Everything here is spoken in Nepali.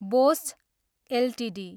Bosch Ltd